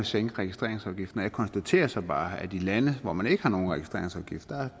sænke registreringsafgiften jeg konstaterer så bare at i lande hvor man ikke har nogen registreringsafgift